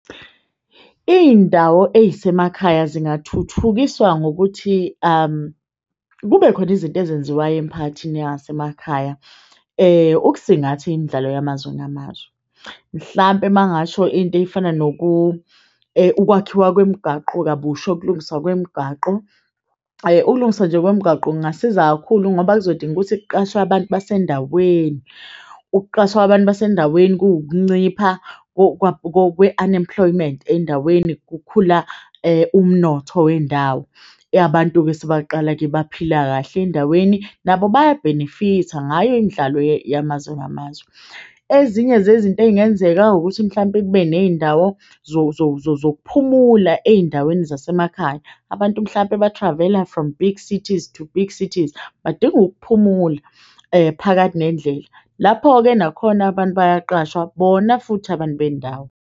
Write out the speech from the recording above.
Iy'ndawo ey'semakhaya zingathuthukiswa ngokuthi kube khona izinto ezenziwayo emiphakathini yangasemakhaya ukusingatha imidlalo yamazwe ngamazwe. Mhlampe uma ngingasho into efana ukwakhiwa kwemigaqo kabusha ukulungiswa kwemigaqo, ukulungiswa nje kwemigaqo kungasiza kakhulu ngoba kuzodinga ukuthi kuqashwe abantu basendaweni. Ukuqashwa abantu basendaweni kuwukuncipha kwe-unemployment endaweni kukhula umnotho wendawo. Abantu sebeyaqala-ke baphila kahle endaweni nabo baya-benefit-a ngayo imidlalo yamazwe ngamazwe. Ezinye zezinto ey'ngenzeka ukuthi mhlampe kube ney'ndawo zokuphumula ey'ndaweni zasemakhaya. Abantu mhlampe ba-travel-a from big cities to big cities badinga ukuphumula phakathi nendlela. Lapho-ke nakhona abantu bayaqashwa bona futhi abantu bendawo.